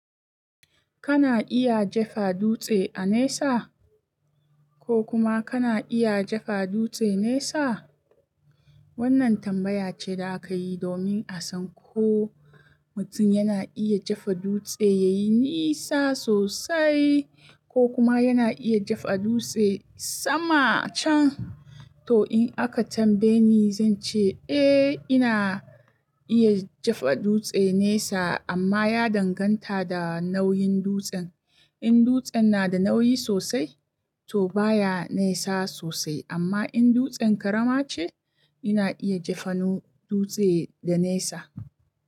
Kana iya jefa dutse a nesa? Ko kuma kana iya jefa dutse nesa? Wannan tambaya ce da aka yi domin a san ko mutum yana iya jefa dutse ya yi nisa sosai ko kuma yana iya jefa dutse sama can. To in aka tambaye ni, zan ce eh ina iya jefa dutse nesa amma ya danganta da nauyin dutsen. In dutsen na da nauyi sosai, to baya nesa sosai amma in dutsen ƙarama ce, ina iya jefanu dutse da nesa.